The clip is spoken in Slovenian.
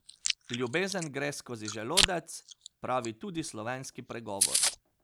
Ljubezen gre skozi želodec, pravi tudi slovenski pregovor.